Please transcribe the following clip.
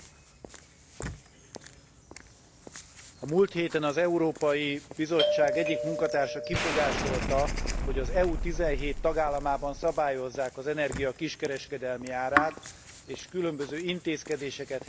A múlt héten az Európai Bizottság egyik munkatársa kifogásolta, hogy az EU 17 tagállamában szabályozzák az energia kiskereskedelmi árát, és különböző intézkedéseket helyezett kilátásba az érintett tagállamok ellen.